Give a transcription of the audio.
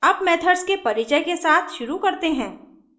अब मेथड्स के परिचय के साथ शुरू करते हैं